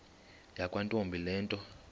yakwantombi le nto